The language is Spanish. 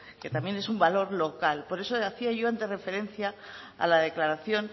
que también es un valor local por eso hacía yo antes referencia a la declaración